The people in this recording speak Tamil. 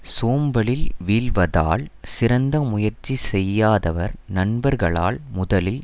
சோம்பலில் வீழ்வதால் சிறந்த முயற்சி செய்யாதவர் நண்பர்களால் முதலில்